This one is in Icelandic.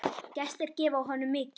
Gestir gefa honum mikið.